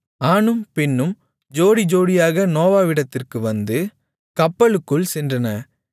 ஆணும் பெண்ணும் ஜோடிஜோடியாக நோவாவிடத்திற்கு வந்து கப்பலுக்குள் சென்றன